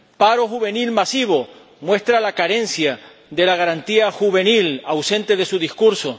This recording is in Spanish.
paro juvenil masivo, que muestra las carencias de la Garantía Juvenil, ausente de su discurso